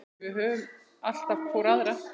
Við höfum alltaf hvor aðra.